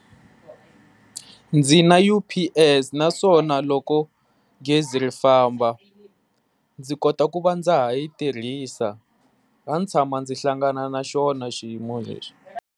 Ndzi na U_P_S, naswona loko gezi ri famba ndzi kota ku va ndza ha yi tirhisa a ndzi tshama ndzi hlangana na xona xiyimo lexi.